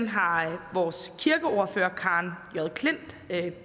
har har vores kirkeordfører karen j klint